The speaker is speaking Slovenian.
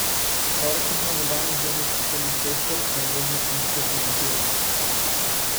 Torek je bil na globalnih delniških trgih pester, nervozen in spet negativen.